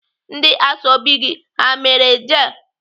Ndị ashọbị gị ha mere jel?